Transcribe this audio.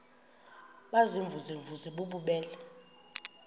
baziimvuze mvuze bububele